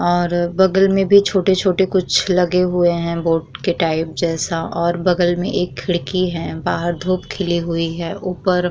और बगल में भी छोटे-छोटे कुछ लगे हुए हैं बोट के टाइप जैसा और बगल में एक खिड़की है। बाहर धूप खिली हुई है। ऊपर --